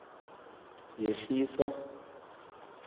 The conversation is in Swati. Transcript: yehlisa